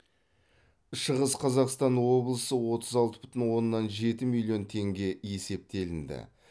шығыс қазақстан облысы отыз алты бүтін оннан жеті миллион теңге есептелінді